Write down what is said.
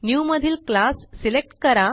new मधील class select करा